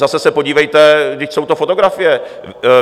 Zase se podívejte, vždyť jsou to fotografie.